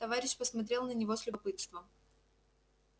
товарищ посмотрел на него с любопытством